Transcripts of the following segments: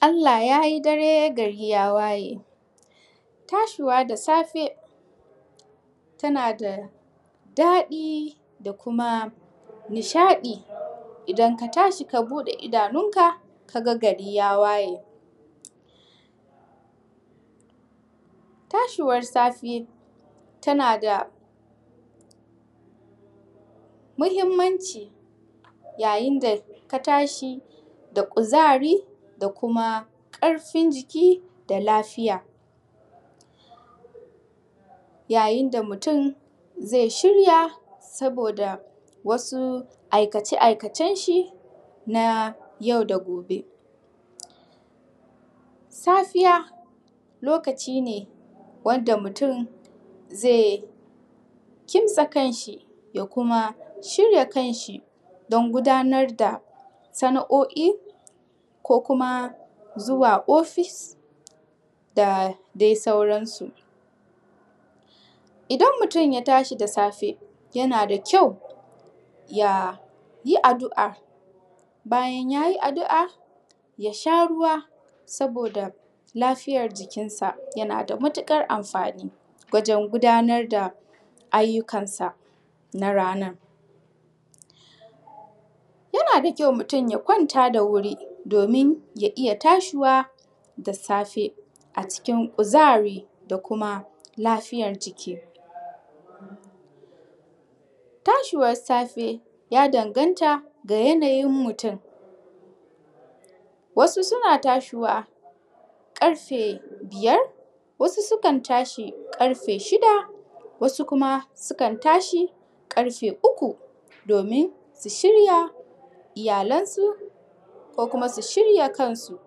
Allah yayi dare gari ya waye tashuwa da safe tana daɗi da kuma nishadi, idan katashi ka buɗe idanun ka kaga gari ya waye. Tashuwar safe tana da mahimmanci ya yinda ka tashi da kuzari da kuma karfin jiki da lafiya. Ya yinda mutun zai shirya saboda wasu aikace aikace shi na yau da gobe. Safiya lokaci ne wadda mutun zai kintsa kanshi ya kuma shirya kanshi dan gudanar da sana'oi ko kuma zuwa ofis da dai sauran su. Idan mutun ya tashi da safe yana da kyau yayi addua bayan yayi addua yasha ruwa saboda lafiyar jikinsa ya nada matukar amfani wajen gudanar da ayyukan sa na ranan. Yanada kyau mutun ya kwanta da wuri domin ya iyya tashuwa da safe a cikin kuzari da kuma lafiyar jiki. Ta shuwar safe ya dan ganta da yanayin mutun wasu suna tashuwa karfe biyar wasu sukan tashi karfe shida wasu Kuma sukan tashi karfe uku dominsu shirya iyyalan su ko kuma su shirya kansu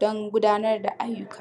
dan gudanar da ayyuka.